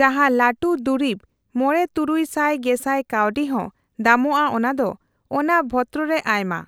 ᱡᱟᱦᱟᱸ ᱞᱟᱹᱴᱩ ᱫᱩᱨᱤᱵ , ᱢᱚᱲᱮᱼᱛᱩᱨᱩᱭ ᱥᱟᱭ ᱜᱮᱥᱟᱭ ᱠᱟᱣᱰᱤ ᱦᱚᱸ ᱫᱟᱢᱚᱜᱼᱟ ᱚᱱᱟᱫᱚ᱾ ᱚᱱᱟ ᱵᱷᱚᱛᱨᱚ ᱨᱮ ᱟᱭᱢᱟ